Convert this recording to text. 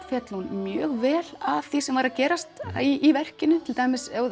féll hún mjög vel að því sem var að gerast í verkinu til dæmis